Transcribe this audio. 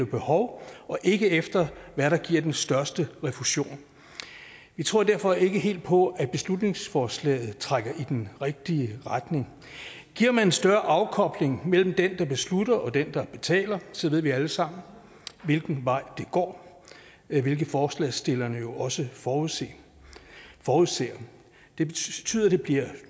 behov og ikke efter hvad der giver den største refusion vi tror derfor ikke helt på at beslutningsforslaget trækker i den rigtige retning giver man en større afkobling mellem den der beslutter og den der betaler så ved vi alle sammen hvilken vej det går hvilket forslagsstillerne jo også forudser forudser det betyder at det bliver